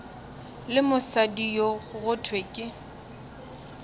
le mosadi go thwe ke